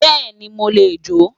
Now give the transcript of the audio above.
Beeni mo le jo